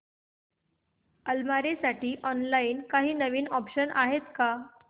अलमारी साठी ऑनलाइन काही नवीन ऑप्शन्स आहेत का